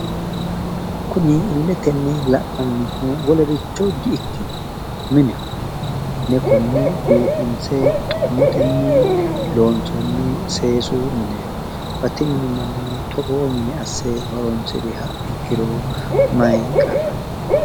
Kuni illeyenni la'nannihu wolericho di ikkino mineho. Konne mine biifinse xummetenni loonsoonni seesu mineeti. Batinyu manni togoo mine asse horoonsiriro mayi qarri no?